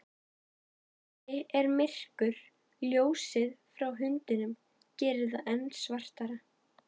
Inni er myrkur, ljósið frá hundinum gerir það enn svartara.